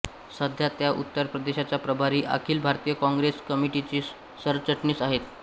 सध्या त्या उत्तर प्रदेशच्या प्रभारी अखिल भारतीय काँग्रेस कमिटीच्या सरचिटणीस आहेत